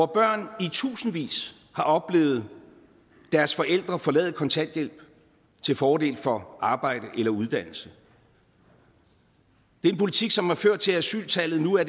børn i tusindvis har oplevet deres forældre forlade kontanthjælp til fordel for arbejde eller uddannelse det er en politik som har ført til at asyltallet nu er